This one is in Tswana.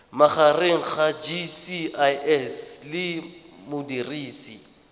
magareng ga gcis le modirisi